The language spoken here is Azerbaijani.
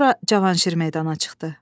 Sonra Cavanşir meydana çıxdı.